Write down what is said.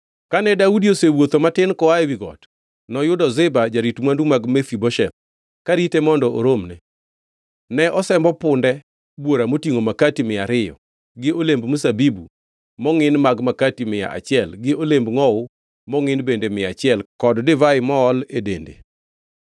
Kane Daudi osewuotho matin koa ewi got, noyudo Ziba jarit mwandu mag Mefibosheth, karite mondo oromne. Ne osembo punde bwora motingʼo makati mia ariyo, gi olemb mzabibu mongʼin mag makati mia achiel gi olemb ngʼowu mongʼin bende mia achiel kod divai mool e dende.